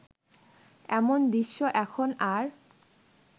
এমন দৃশ্য এখন আর